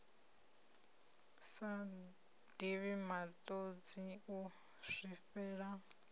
sa divhi matodzi u zwifhela